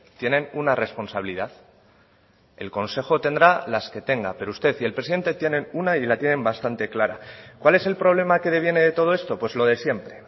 tienen una responsabilidad el consejo tendrá las que tenga pero usted y el presidente tienen una y la tienen bastante clara cuál es el problema que deviene de todo esto pues lo de siempre